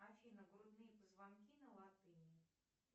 афина грудные позвонки на латыни